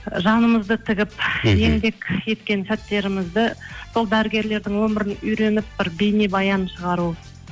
ы жанымызды тігіп еңбек еткен сәттерімізді сол дәрігерлердің өмірін үйреніп бір бейнебаян шығару